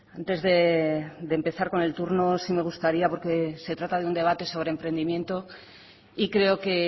antes de empezar con el turno sí me gustaría porque se trata de un debate sobre emprendimiento y creo que